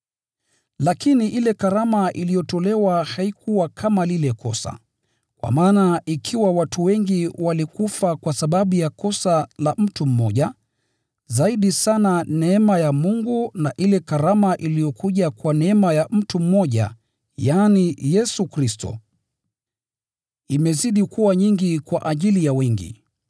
Lakini ile karama iliyotolewa haikuwa kama lile kosa. Kwa maana ikiwa watu wengi walikufa kwa sababu ya kosa la mtu mmoja, zaidi sana neema ya Mungu na ile karama iliyokuja kwa neema ya mtu mmoja, yaani, Yesu Kristo, imezidi kuwa nyingi kwa ajili ya wengi.